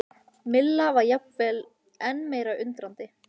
Milla var jafnvel enn meira undrandi.